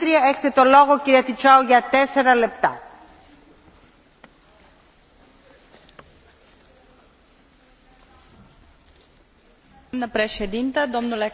În 2008, Uniunea Europeană și a asumat angajamentul ca până în 2020 să reducă consumul de energie cu 20 iar 20 din energia consumată să provină din surse regenerabile.